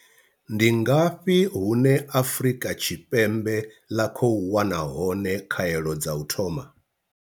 Ndi ngafhi hune Afrika Tshi pembe ḽa khou wana hone pembe ḽa khou wana hone khaelo dza u thoma?